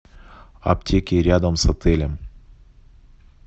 аптеки рядом с отелем